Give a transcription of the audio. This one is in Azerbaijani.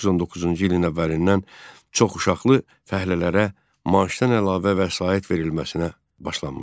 1919-cu ilin əvvəlindən çoxuşaqlı fəhlələrə maaşdan əlavə vəsait verilməsinə başlanmışdı.